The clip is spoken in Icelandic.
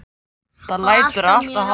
Það lætur alltof hátt í hljómtækjunum.